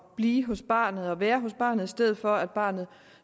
blive hos barnet og være hos barnet i stedet for at barnet